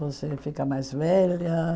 Você fica mais velha.